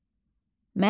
Məryəm.